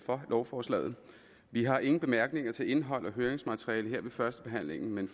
for lovforslaget vi har ingen bemærkninger til indhold og høringsmateriale her ved førstebehandlingen men